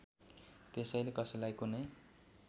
त्यसैले कसैलाई कुनै